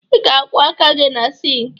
Ị ga-akwọ aka gị na sịịnkị